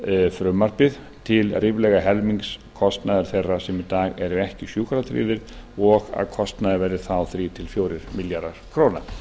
frumvarpið til ríflega helmings kostnaðar þeirra sem í dag eru ekki sjúkratryggðir og að kostnaður verði þá þrjá til fjórir milljarðar króna